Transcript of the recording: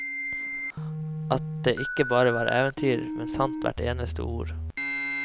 At det ikke bare var eventyr, men sant hvert eneste ord.